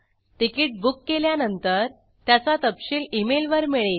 ticket book केल्यानंतर त्याचा तपशील emailवर मिळेल